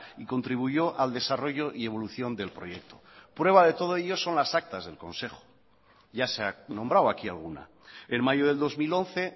y contribuyó al desarrollo y evolución del proyecto prueba de todo ello son las actas del consejo ya se ha nombrado aquí alguna en mayo del dos mil once